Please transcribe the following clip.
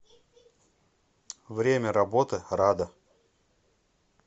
время работы рада